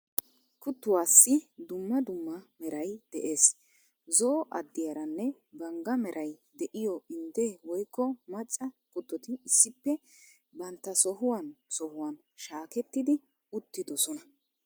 Kuttuwassi dumma dumma meray de'ees. Zo'o addiyaranne bangga meray de'iyo indde woykko macca kuttoti issippe bantta sohuwan sohuwan shaakettidi uttidosona.